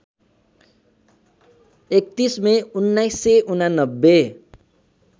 ३१ May १९८९